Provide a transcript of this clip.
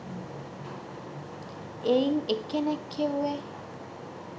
එයිං එක්කෙනෙක් කිව්වෙ